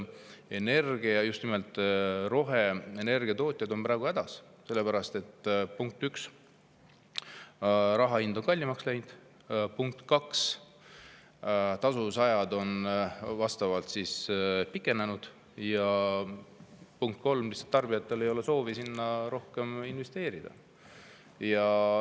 Energiatootjad, just nimelt roheenergiatootjad on seal praegu hädas, sellepärast et, punkt üks, raha hind on kallimaks läinud, punkt kaks, tasuvusajad on vastavalt pikenenud ja punkt kolm, lihtsalt tarbijatel ei ole soovi sellesse rohkem investeerida.